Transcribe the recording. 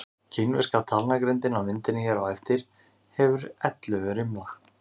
Kínverska talnagrindin á myndinni hér á eftir hefur ellefu rimla.